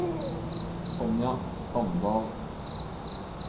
Sonja Standal